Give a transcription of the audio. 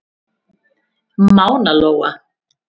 Mána Lóa.